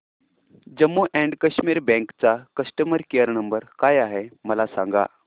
Jammu and Kashmir bank चा customer care number काय आहे हे मला सांगा